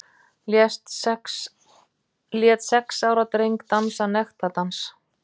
Lét sex ára dreng dansa nektardans